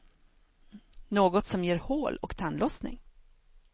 Något som ger hål och tandlossning.